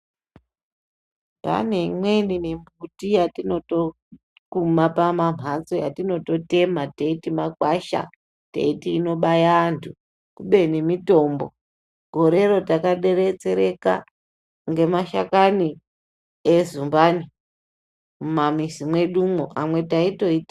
Pane imweni mimbuti yatinotokuma pamamphatso yatinototema teiti magwasha, teiti inobaya antu kubeni mitombo. Gorero takadetsereka ngemashakani ezumbani mumamizi mwedumo, amwe taitoti....